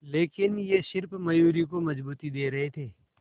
लेकिन ये सिर्फ मयूरी को मजबूती दे रहे थे